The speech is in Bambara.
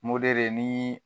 ni